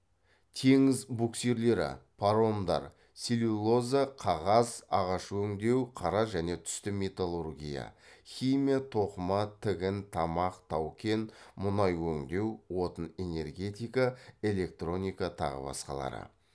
теңіз буксирлері паромдар целлюлоза қағаз ағаш өңдеу қара және түсті металлургия химия тоқыма тігін тамақ тау кен мұнай өңдеу отын энергетика электроника тағы басқалары